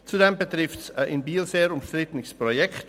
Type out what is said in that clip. Zudem betrifft es ein in Biel sehr umstrittenes Projekt.